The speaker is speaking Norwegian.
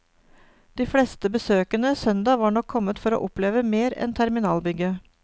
De fleste besøkende søndag var nok kommet for å oppleve mer enn terminalbygget.